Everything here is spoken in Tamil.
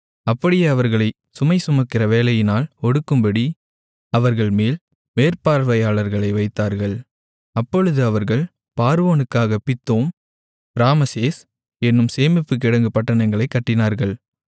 அப்படியே அவர்களைச் சுமை சுமக்கிற வேலையினால் ஒடுக்கும்படி அவர்கள்மேல் மேற்பார்வையாளர்களை வைத்தார்கள் அப்பொழுது அவர்கள் பார்வோனுக்காகப் பித்தோம் ராமசேஸ் என்னும் சேமிப்புக் கிடங்கு பட்டணங்களைக் கட்டினார்கள்